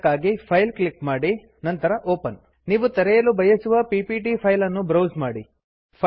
ಇದಕ್ಕಾಗಿ file click ಮಾಡಿ ನಂತರ ಒಪೆನ್ ನೀವು ತೆರೆಯಲು ಬಯಸುವ ಪಿಪಿಟಿ ಫೈಲ್ ಅನ್ನು ಬ್ರೌಸ್ ಮಾಡಿ